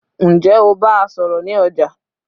ǹjẹ́ o bá a sọ̀rọ̀ ní ọjà?